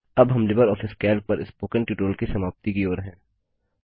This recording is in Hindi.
अब हम लिबर ऑफिस कैल्क पर स्पोकन ट्यूटोरियल की समाप्ति की ओर हैं